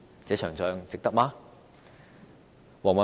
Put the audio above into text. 這場仗，值得嗎？